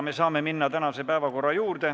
Me saame minna tänase päevakorra juurde.